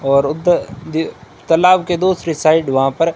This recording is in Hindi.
और उत दी तालाब के दूसरी साइड वहां पर--